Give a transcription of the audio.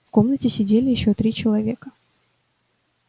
в комнате сидели ещё три человека